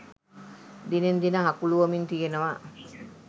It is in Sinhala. දිනෙන් දින හකුළුවමින් තියෙනවා.